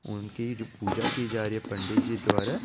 उनके जो पूजा की जा रही है पंडित जी द्वारा --